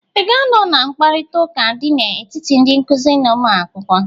I ga-anọ na mkparịta ụka dị n'etiti ndị nkụzị na ụmụakwụkwọ?